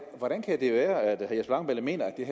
hvordan kan det være at langballe mener at det